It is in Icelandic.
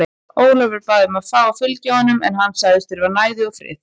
Ólafur bað um að fá að fylgja honum en hann sagðist þurfa næði og frið.